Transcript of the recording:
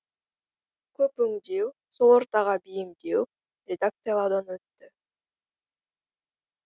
көп өңдеу сол ортаға бейімдеу редакциялаудан өтті